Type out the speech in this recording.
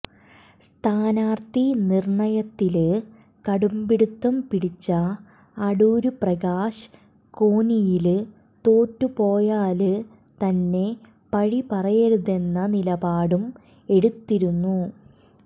സ്ഥാനാര്ത്ഥി നിര്ണ്ണയത്തില് കടുംപിടുത്തം പിടിച്ച അടൂര്പ്രകാശ് കോന്നിയില് തോറ്റുപോയാല് തന്നെ പഴി പറയരുതെന്ന നിലപാടും എടുത്തിരുന്നു